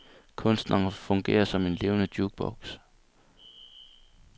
Kunstneren fungerer som en levende jukebox.